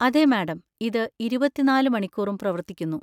അതെ മാഡം, ഇത് ഇരുപത്തിനാല് മണിക്കൂറും പ്രവർത്തിക്കുന്നു.